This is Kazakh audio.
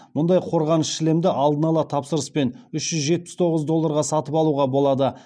мұндай қорғаныш шлемді алдын ала тапсырыспен үш жүз жетпіс тоғыз долларға сатып алуға болады